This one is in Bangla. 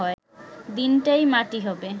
দিনটাই মাটি হবে